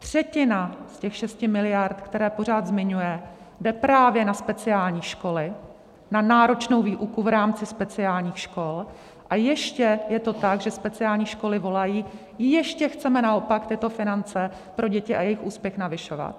Třetina z těch 6 miliard, které pořád zmiňuje, jde právě na speciální školy, na náročnou výuku v rámci speciálních škol, a ještě je to tak, že speciální školy volají: ještě chceme naopak tyto finance pro děti a jejich úspěch navyšovat.